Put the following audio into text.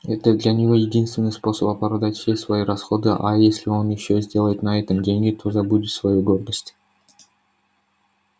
это для него единственный способ оправдать все свои расходы а если он ещё сделает на этом деньги то забудет свою гордость